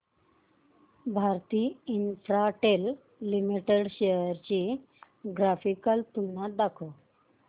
Bharti Infratel limited shares ची graphical तुलना दाखव